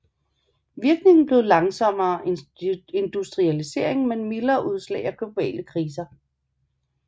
Virkningen blev langsommere industrialisering men mildere udslag af globale kriser